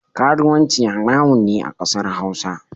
Karuwanci haramun ne a kasar hausa.